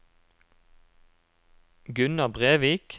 Gunnar Brevik